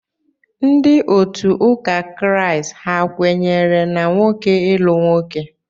Ndị otu ụka Kraịst ha kwenyere na nwoke ịlụ nwoke?